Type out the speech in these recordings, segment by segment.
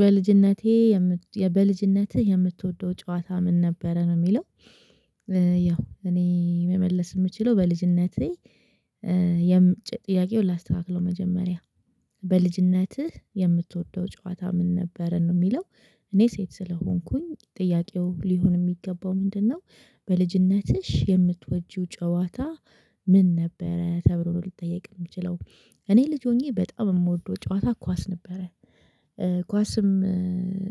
በልጅነቴ በልጅነትህ የምትወደው ጨዋታ ምን ነበረ ነው የሚለው? ያው እኔ መመለስ የምችለው በልጅነቴ የምጭ ጥያቄውን ላስተካክለው። መጀመሪያ በልጅነትህ የምትወደው ጨዋታ ምን ነበረ ነው የሚለው? እኔ ሴት ስለሆንኩኝ ጥያቄው ሊሆን የሚገባው ምንድነው? በልጅነትሽ የምትወጂው ጨዋታ ምን ነበረ ተብሎ ነው ልጠየቅ የምችለው። እኔ ልጅ ሆኜ በጣም የምወደው ጨዋታ ኳስ ነበረ። ኳስም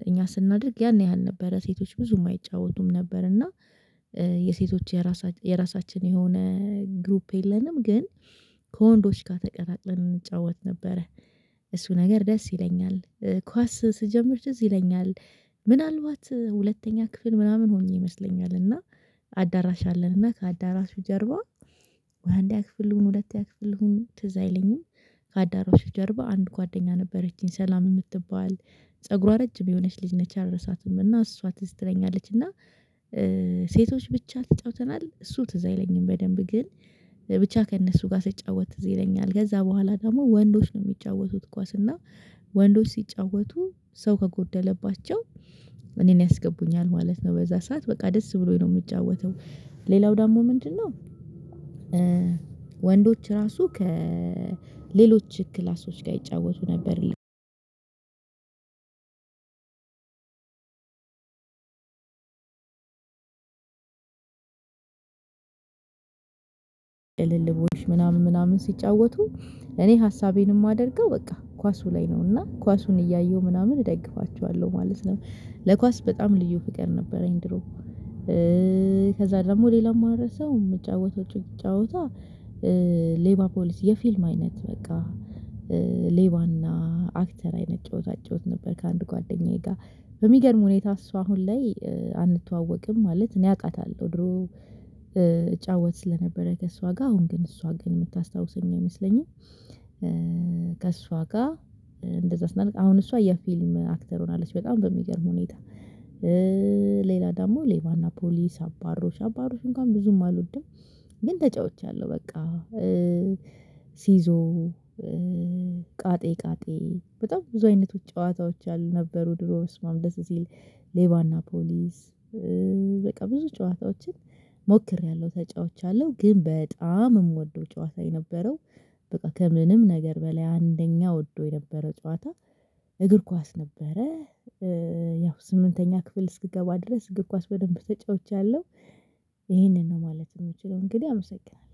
እኛ ስናደርግ ያን ያህል ነበረ ሴቶች ብዙም አይጫወቱም ነበር። እና የሴቶች የራሳችን የራሳችን የሆነ ግሩፕ የለንም ግን ከወንዶች ጋር ተቀላቅለን እንጫወት ነበረ። እሱ ነገር ደስ ይለኛል። ኳስ ስጀምር ትዝ ይለኛል። ምናልባት ሁለተኛ ክፍል ምናምን ሆኜ ይመስለኛል። እና አዳራሽ አለን እና ከአዳራሹ ጀርባ ወይ አንደኛ ክፍል ልሁን ሁለተኛ ክፍል ልሁን ትዝ አይለኝም። ከአዳራሹ ጀርባ አንድ ጓደኛ ነበረችኝ ሰላም የምትባል ፀጉሯ ረጅም የሆነች ልጅ ነች አልረሳትም። እና እሷ ትዝ ትለኛለች እና። ሴቶች ብቻ ተጫውተናል እሱ ትዝ አይለኝም። በደንብ ግን ብቻ ከእነሱ ጋር ስጫወት ትዝ ይለኛል። ከዛ በኋላ ደግሞ ወንዶች ነው የሚጫወቱት ኳስ እና። ወንዶች ሲጫወቱ ሰው ከጎደለባቸው እኔን ያስገቡኛል ማለት ነው። በዛ ሰዓት በቃ ደስ ብሎኝ ነው የምጫወተው። ሌላው ደግሞ ምንድነው? ወንዶች ራሱ ከሌሎች ክላሶች ጋር ይጫወቱ ነበር። ቅልልቦሽ ምናምን ምናምን ሲጫወቱ እኔ ሀሳቤን የማደርገው በቃ ኳሱ ላይ ነው እና ኳሱን እያየሁ ምናምን እደግፋቸዋለሁ ማለት ነው። ለኳስ በጣም ልዩ ፍቅር ነበረኝ ድሮ። ከዛ ደግሞ ሌላ የማልረሳው የምጫወተው ጫወታ። ሌባ ፖሊስ የፊልም አይነት በቃ ሌባና አክተር አይነት ጨዋታ እጫወት ነበር። ከአንድ ጓደኛዬ ጋር በሚገርም ሁኔታ እሷ አሁን ላይ አንተዋወቅም ማለት እኔ አቃታለሁ ድሮ። እጫወት ስለነበረ ከእሷ ጋር አሁን ግን እሷ ግን የምታስታውሰኝ አይመስለኝም። ከእሷ ጋር እንደዛ ስናደርግ አሁን እሷ የፊልም አክተር ሆናለች በጣም በሚገርም ሁኔታ። ሌላ ደግሞ ሌባና ፖሊስ አባሮሽ አባሮሽ እንኳን ብዙም አልወድም ግን ተጫውቻለሁ በቃ። ሲዞ። ቃጤ ቃጤ በጣም ብዙ አይነቶች ጨዋታዎች ነበሩ ድሮ በስመአብ ደስ ሲል ሌባና ፖሊስ። በቃ ብዙ ጨዋታዎችን ሞክሬያለሁ ተጫውቻለሁ። ግን በጣም የምወደው ጨዋታ የነበረው በቃ ከምንም ነገር በላይ አንደኛ ወደው የነበረው ጨዋታ እግር ኳስ ነበረ። ያው ስምንተኛ ክፍል እስክገባ ድረስ እግር ኳስ በደንብ ተጫውቻለሁ። ይሄንን ነው ማለት የምችለው እንግዲህ አመሰግናለሁ